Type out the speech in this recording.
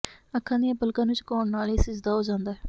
ਅੱਖਾਂ ਦੀਆਂ ਪਲਕਾਂ ਨੂੰ ਝੁਕਾਉਣ ਨਾਲ ਹੀ ਸਿਜਦਾ ਹੋ ਜਾਂਦਾ ਹੈ